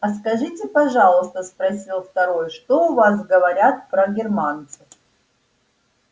а скажите пожалуйста спросил второй что у вас говорят про германцев